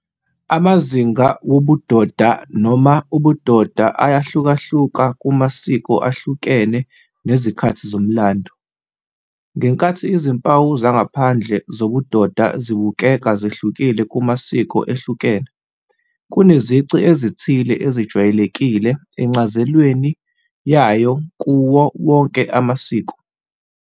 Amazinga wobudoda noma ubudoda ayahlukahluka kumasiko ahlukene nezikhathi zomlando. Ngenkathi izimpawu zangaphandle zobudoda zibukeka zehlukile kumasiko ehlukene, kunezici ezithile ezijwayelekile encazelweni yayo kuwo wonke amasiko.